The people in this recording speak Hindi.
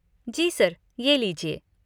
जी सर, ये लीजिए।